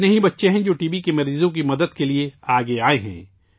کتنے ہی بچے ہیں جو ٹی بی کے مریضوں کی مدد کے لیے آگے آئے ہیں